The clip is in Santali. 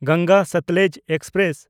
ᱜᱚᱝᱜᱟ ᱥᱚᱛᱞᱮᱡᱽ ᱮᱠᱥᱯᱨᱮᱥ